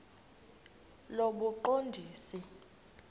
lobuqondisi